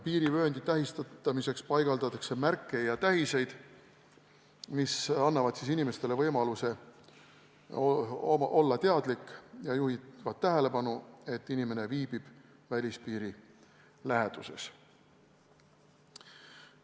Piirivööndi tähistamiseks paigaldatakse märke ja muid tähiseid, mis annavad inimestele võimaluse olla teadlik ja juhivad tähelepanu, et inimene viibib välispiiri läheduses.